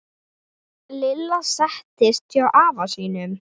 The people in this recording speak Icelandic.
Lilla settist hjá afa sínum.